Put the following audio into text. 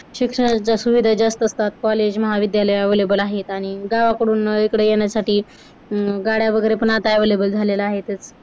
शिक्षणाच्या सुविधा जास्त असतात college महाविद्यालय available आहेत आणि गावाकडून इकडे येण्यासाठी अं गाड्या वगैरे पण आता available झाल्या आहेतच